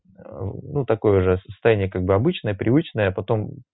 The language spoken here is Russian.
ну такое же состояние как бы обычное привычное потом